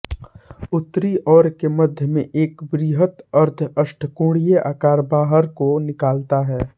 उत्तरी ओर के मध्य में एक वृहत अर्धअष्टकोणीय आकार बाहर को निकलता है